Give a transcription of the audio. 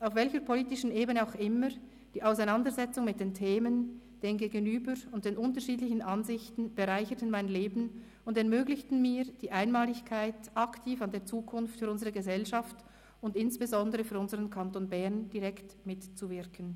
Auf welcher politischen Ebene auch immer, die Auseinandersetzung mit den Themen, dem Gegenüber und den unterschiedlichen Ansichten bereicherten mein Leben und ermöglichten mir die Einmaligkeit, aktiv an der Zukunft für unsere Gesellschaft und insbesondere für unseren Kanton Bern direkt mitzuwirken.